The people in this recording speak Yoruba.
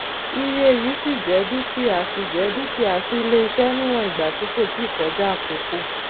iye yìí ṣíì jẹ dúkìá ṣíì jẹ dúkìá sí iléiṣẹ níwọn ìgbà tí kò tíì kọjá àkókò